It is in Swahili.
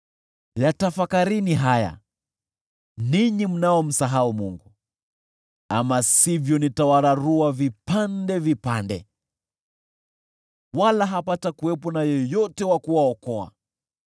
“Yatafakarini haya, ninyi mnaomsahau Mungu, ama sivyo nitawararua vipande vipande, wala hapatakuwepo na yeyote wa kuwaokoa: